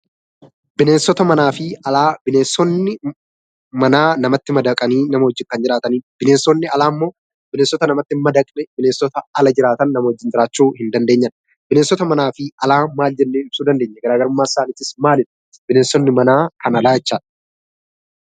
Bineensota manafi alaa; bineensonni mana namatti madaqani namaa wajjin Kan jiraatanidha. Bineensonni alaa immo bineensota namatti hin madaqne bineensota alaa jiraatan namaa wajjin jiraachuu hin dandeenyedha. Bineensota manafi alaa maal jenne ibsuu dandeenyaa? Garaagarumman isaanis maalidha? Bineensonni mana Kan alaa eechadha.